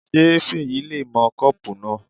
Ṣé Fèyí le mọ kọ́pù náà?